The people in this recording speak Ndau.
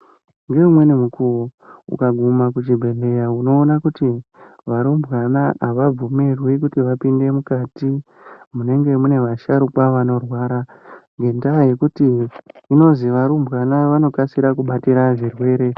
Ngeumweni mukuwo, ukaguma kuchibhedhleya unoona kuti, varumbwana avabvumirwi kuti vapinde mukati, munenge mune vasharukwa vanorwara, ngendaa yekuti, zvinozwi varumbwana vanokasira kubatira zvirwere.